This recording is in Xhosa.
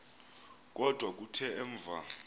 kodwa kuthe emva